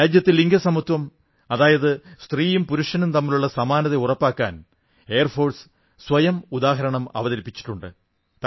രാജ്യത്ത് ലിംഗസമത്വം അതായത് സ്ത്രീയും പുരുഷനും തമ്മിലുള്ള സമത്വം ഉറപ്പാക്കാൻ വ്യോമസേന സ്വയം ഉദാഹരണം അവതരിപ്പിച്ചിട്ടുണ്ട്